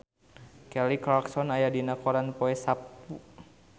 Kelly Clarkson aya dina koran poe Saptu